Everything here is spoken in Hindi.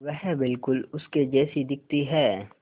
वह बिल्कुल उसके जैसी दिखती है